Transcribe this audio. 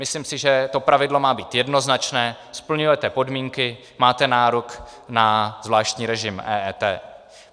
Myslím si, že to pravidlo má být jednoznačné: splňujete podmínky, máte nárok na zvláštní režim EET.